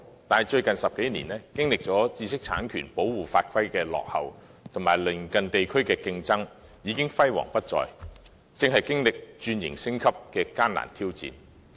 可是，最近10多年，由於知識產權保護法規的落後，以及來自鄰近地區的競爭，本地創意工業已經輝煌不再，正面對轉型升級的艱難挑戰。